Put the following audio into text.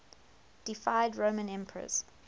deified roman emperors